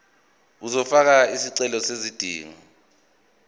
uzofaka isicelo sezidingo